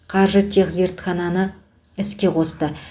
қаржытехзертхананы іске қосты